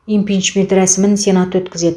импичмент рәсімін сенат өткізеді